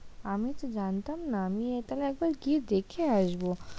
আমি তো জানতাম না, আমি এটাকে এবার গিয়ে দেখে আসব।